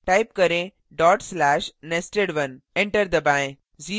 type करें:/nested1 enter दबाएँ